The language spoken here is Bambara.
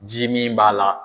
Ji min b'a la